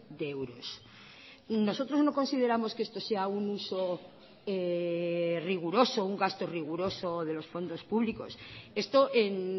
de euros nosotros no consideramos que esto sea un uso riguroso un gasto riguroso de los fondos públicos esto en